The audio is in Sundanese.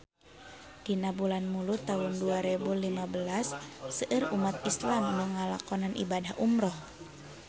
Dina bulan Mulud taun dua rebu lima belas seueur umat islam nu ngalakonan ibadah umrah